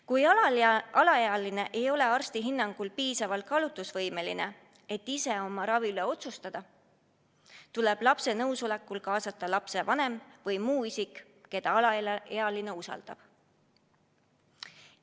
Kui alaealine ei ole arsti hinnangul piisavalt kaalutlusvõimeline, et ise oma ravi üle otsustada, tuleb lapse nõusolekul kaasata lapsevanem või muu isik, keda alaealine usaldab.